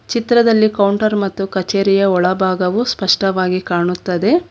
ಚಿತ್ರದಲ್ಲಿ ಕೌಂಟರ್ ಮತ್ತು ಕಚೇರಿಯ ಒಳಭಾಗವು ಸ್ಪಷ್ಟವಾಗಿ ಕಾಣುತ್ತದೆ.